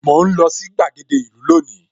Mò ń lọ sí gbàgede ìlú lónìí